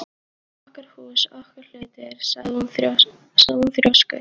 Þetta var okkar hús, okkar hlutir sagði hún þrjósku